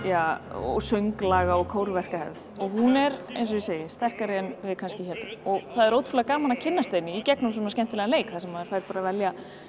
og sönglaga og hún er eins og ég segi sterkari en við kannski héldum og það er ótrúlega gaman að kynnast henni í gegnum svona skemmtilegan leik þar sem maður fær bara að velja